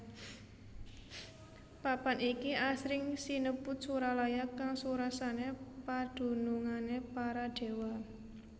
Papan iki asring sinebut Suralaya kang surasane padunungane para déwa